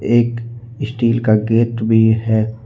एक स्टील का गेट भी है।